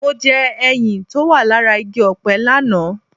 Mo jẹ ẹyin tó wà lára igi ọ̀pẹ lánàá